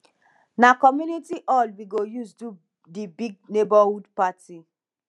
na community hall we go use do di big neighborhood party